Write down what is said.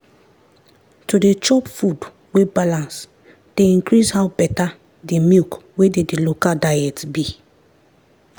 to dey chop food wey balance dey increase how better the milk wey dey the local diets be.